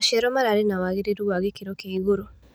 Maciaro mararĩ na wagĩrĩru wa gĩkĩro kia igũrũ.